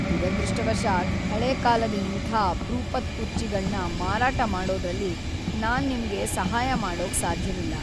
ದುರದೃಷ್ಟವಶಾತ್‌ ಹಳೇ ಕಾಲದ ಇಂಥ ಅಪ್ರೂಪದ್ ಕುರ್ಚಿಗಳ್ನ ಮಾರಾಟ ಮಾಡೋದ್ರಲ್ಲಿ ನಾನ್ ನಿಮ್ಗೆ ಸಹಾಯ ಮಾಡೋಕ್‌ ಸಾಧ್ಯವಿಲ್ಲ.